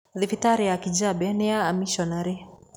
Thibitarĩ ya Kijabe nĩ ya amiconarĩ.